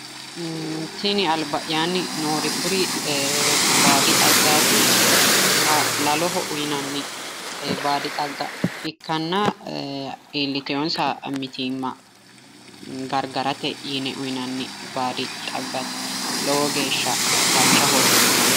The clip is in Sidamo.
Tini alba'yaanni noori kuri baadi xaggaati laloho uyinanni baadi xagga ikkanna iillitewonsa mitiimma gargarate yine uyinanni baadi xaggaatilowo geeshsha dancha horo uyiitanno.